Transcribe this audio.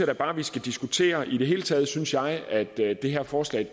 da bare vi skal diskutere i det hele taget synes jeg at det det her forslag